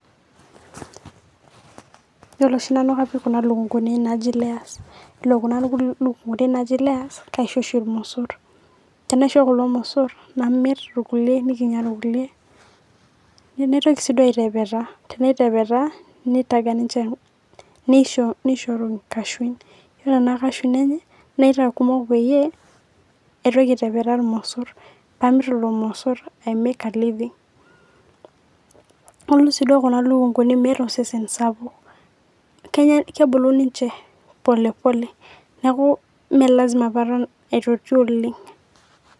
Iyolo oshi nanu kapik kuna lukunguni naaji layers iyolo kuna lukunguni naaji layers kaisho oshii irmosurr, tenaisho kulo irmosurr namir irkule enikinya irkule naitoki sii duo aitepetaa, tenaitepetaa neitaga ninshe neisharu inkashui, iyolo ana kashui enye naitaa kumok peyie aitoki aitepetaa irmosurr paamir ilo irmosurr aimeeek a living . Naaku sii duo kulo lukunguni meeta osesen sapuk kebulu ninche polepole naaku mee lasima paaran aituchul oleng.